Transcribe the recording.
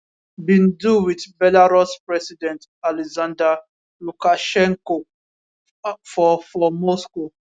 bin do wit belarus president alexander lukashenko for for moscow